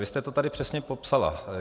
Vy jste to tady přesně popsala.